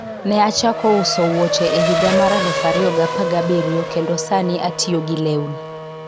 Ne achako uso wuoche e higa mar 2017 kendo sani atiyo gi lewni.